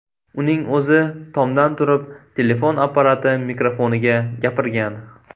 Uning o‘zi tomdan turib telefon apparati mikrofoniga gapirgan.